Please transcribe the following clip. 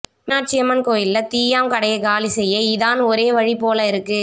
மீனாட்சியம்மன் கோயில்ல தீயாம் கடையை காலி செய்ய இதான் ஒரே வழி போல இருக்கு